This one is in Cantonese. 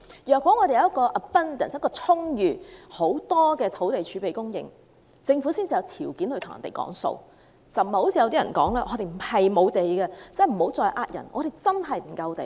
如果我們有充裕的土地儲備供應，政府才有條件討價還價，而不是如某些人說香港並非土地不足，請他們不要欺騙人。